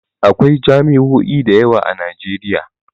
Akwai jami'o'i da yawa a Nijeriya